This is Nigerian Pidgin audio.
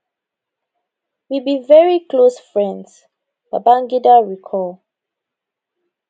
we be very close friends babangida recall